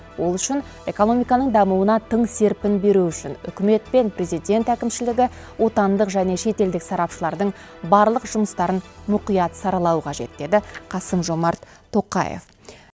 ол үшін экономиканың дамуына тың серпін беру үшін үкімет пен президент әкімшілігі отандық және шетелдік сарапшылардың барлық жұмыстарын мұқият сарлауы қажет деді қасым жомарт тоқаев